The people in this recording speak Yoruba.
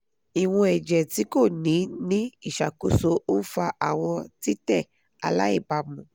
iwọn ẹjẹ ti ko ni ni iṣakoso nfa awọn titẹ alaibamu